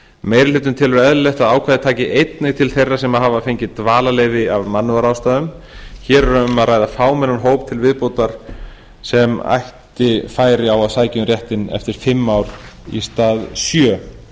meiri hlutinn telur eðlilegt að ákvæðið taki einnig til þeirra sem hafa fengið dvalarleyfi af mannúðarástæðum hér er um að ræða fámennan hóp til viðbótar sem ætti færi á að sækja um réttinn eftir fimm ár í stað sjö